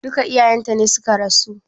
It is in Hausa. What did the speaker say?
Duka iyayen ta ne suka rasu?